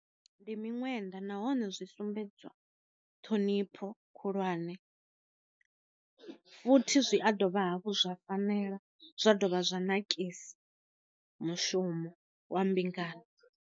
Ndi miṅwenda nahone zwi sumbedzwa ṱhonipho khulwane, futhi zwi a dovha hafhu zwa fanela zwa dovha zwa nakisa mushumo wa mbingano.